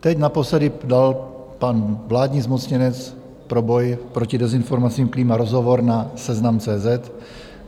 Teď naposledy dal pan vládní zmocněnec pro boj proti dezinformacím Klíma rozhovor na Seznam.cz